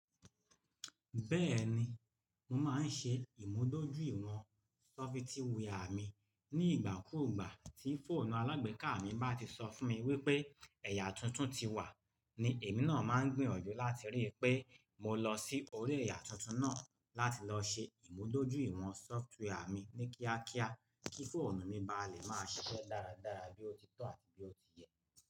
Bẹ́ẹ̀ni, mo máa ń ṣe ìmúdójúìwọ̀n sọfitíwià mi ní ìgbàkúùgbà. Tí fóònù alágbèéká mi bá ti sọ fún mi wípé ẹ̀yà tuntun ti wà, ni èmi náà máa ń gbìyànjú láti rí i pé mo lọ sí orí ẹ̀yà tuntun náà láti lọ ṣe ìmúdójúìwọ̀n sọfitíwià mi ní kíákíá kí fóònù mi bá lè máa ṣiṣẹ́ dáradára bí ó ti tọ́ àti bí ó ti yẹ.